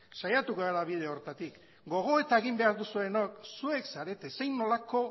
saiatuko gara bide horretatik gogoeta egin behar duzuenok zuek zarete zein nolako